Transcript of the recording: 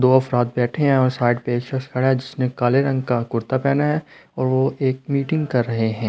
दो अफराद बैठे हैं और साइड पे एक शख्स खड़ा है जिसने काले रंग का कुर्ता पहना है और वो एक मीटिंग कर रहे हैं।